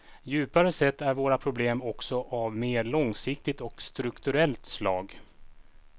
Djupare sett är våra problem också av mer långsiktigt och strukturellt slag.